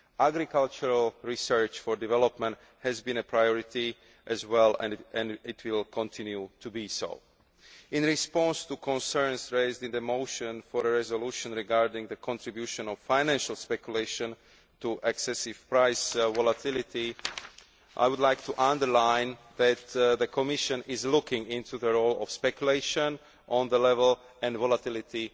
Agricultural research for development has been a priority as well and it will continue to be one. In response to concerns raised in the motion for a resolution regarding the contribution of financial speculation to excessive price volatility, I would like to underline that the Commission is looking into the role of speculation on the level and volatility